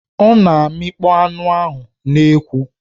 Ọ na-amịkpọ anụ n'ekwu.